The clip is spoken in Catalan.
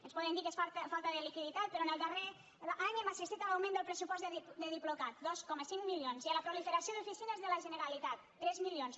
ens poden dir que és falta de liquiditat però en el darrer any hem assistit a l’augment del pressupost del diplocat dos coma cinc milions i a la proliferació d’oficines de la generalitat tres milions